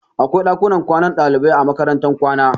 Akwai ɗakunan kwanan ɗalibai a makarantar kwana